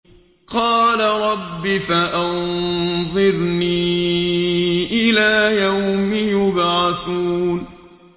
قَالَ رَبِّ فَأَنظِرْنِي إِلَىٰ يَوْمِ يُبْعَثُونَ